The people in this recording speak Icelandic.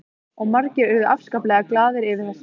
Og margir urðu afskaplega glaðir yfir þessu.